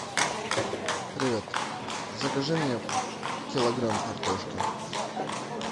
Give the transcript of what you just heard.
привет закажи мне килограмм картошки